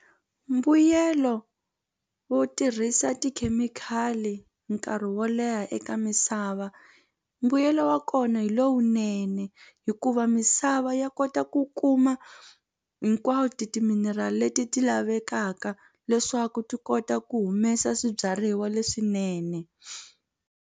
Mbuyelo wo tirhisa tikhemikhali nkarhi wo leha eka misava mbuyelo wa kona hi lowunene hikuva mi misava ya kota ku kuma hinkwato timinerali leti ti lavekaka leswaku ti kota ku humesa swibyariwa leswinene.